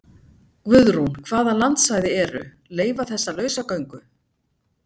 Guðrún: Hvaða landsvæði eru, leyfa þessa lausagöngu?